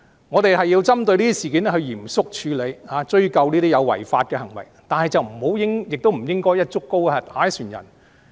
我們要針對這些事件嚴肅處理，追究這些違法行為，但不應該"一竹篙打一船人"。